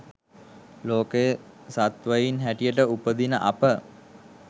ලෝකයේ සත්ත්වයින් හැටියට උපදින අප